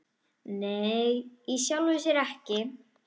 Nei, í sjálfu sér ekki.